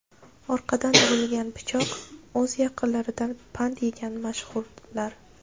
Orqadan urilgan pichoq: o‘z yaqinlaridan pand yegan mashhurlar.